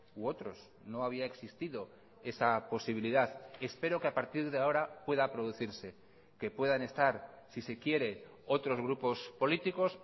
u otros no había existido esa posibilidad espero que a partir de ahora pueda producirse que puedan estar si se quiere otros grupos políticos